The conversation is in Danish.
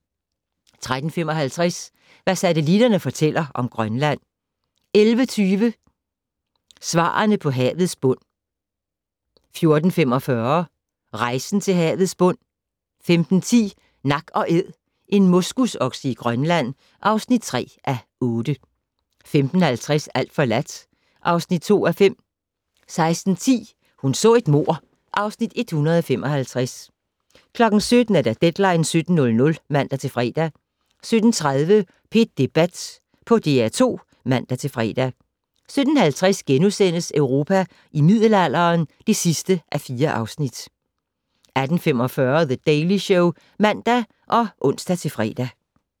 13:55: Hvad satellitterne fortæller om Grønland 14:20: Svarene på havets bund 14:45: Rejsen til havets bund 15:10: Nak & Æd - en moskusokse i Grønland (3:8) 15:50: Alt forladt (2:5) 16:10: Hun så et mord (Afs. 155) 17:00: Deadline 17.00 (man-fre) 17:30: P1 Debat på DR2 (man-fre) 17:50: Europa i middelalderen (4:4)* 18:45: The Daily Show (man og ons-fre)